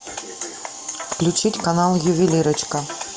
включить канал ювелирочка